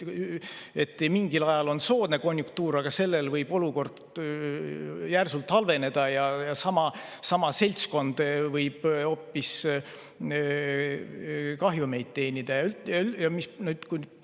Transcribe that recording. Mingil ajal on soodne konjunktuur, aga olukord võib järsult halveneda ja sama seltskond võib hoopis kahjumit hakata teenima.